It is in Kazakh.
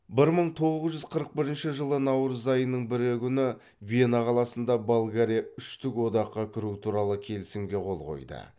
бір мың тоғыз жүз қырық бірінші жылы наурыз айының бірі күні вена қаласында болгария үштік одаққа кіру туралы келісімге қол қояды